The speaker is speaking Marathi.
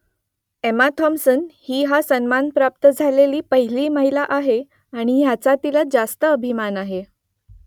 एम्मा थॉम्पसन ही हा सन्मान प्राप्त झालेली पहिली महिला आहे आणि याचा तिला रास्त अभिमान आहे